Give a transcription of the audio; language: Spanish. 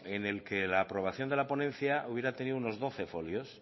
en el que la aprobación de la ponencia hubiera tenido unos doce folios